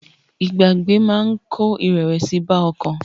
Pípa ènìyàn tì máa ń kó ìrẹ̀wẹ̀sì bá ọkàn.